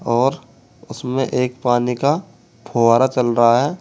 और उसमें एक पानी का फव्वारा चल रहा है।